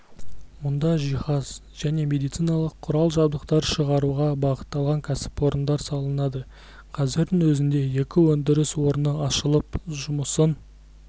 мұнда жиһаз және медициналық құрал-жабдықтар шығаруға бағытталған кәсіпорындар салынады қазірдің өзінде екі өндіріс орны ашылып жұмысын